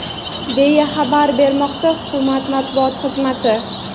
deya xabar bermoqda hukumat matbuot xizmati.